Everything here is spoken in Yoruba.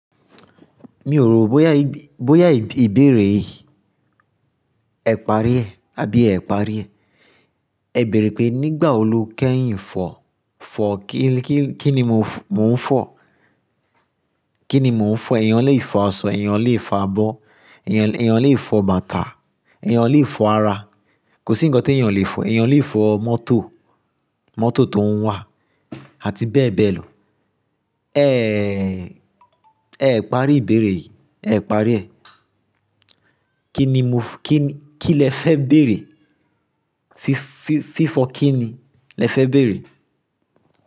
Mi ò rò bóyá ìbéèrè yìí ẹ parí ẹ àbí ẹ parí ẹ. Ẹ bèèrè pé nígbà wo lo kẹ́yìn fọ̀, fọ̀ kí ni mò ń fọ̀? Kí ni mò ń fọ̀? Ẹ̀eyàn lè fo asọ, ẹ̀eyàn lè fo abọ́, ẹ̀eyàn lè fo bàtà, ẹ̀eyàn lè fo ara. Kò sí ǹkan tí èèyàn o lè fọ̀. Ẹ̀eyàn lè fọ mọ́tò, mọ́tò tó ń wà àti bẹ́ẹ̀ bẹ́ẹ̀ lọ. Ẹ̀ parí ìbéèrè yìí, ẹ parí ẹ. Kí ni mo f-- kí lẹ fẹ́ bèèrè? Fi fọ̀ kí ni lẹ fẹ́ bèèrè?